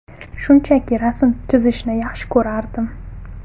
Shunchaki rasm chizishni yaxshi ko‘rardim.